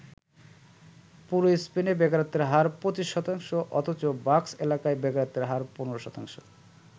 পুরো স্পেনে বেকারত্বের হার ২৫ শতাংশ অথচ বাস্ক এলাকায় বেকারত্বের হার ১৫ শতাংশ।